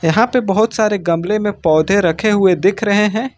यहां पे बहोत सारे गमले में पौधे रखे हुए दिख रहे हैं।